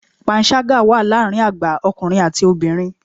Panṣágà wà láàárín àgbà ọkùnrin àti obìnrin.